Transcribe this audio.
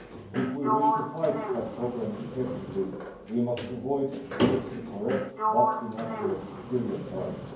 If we wish to fight that problem effectively, we must avoid politically correct but inaccurate stereotypes.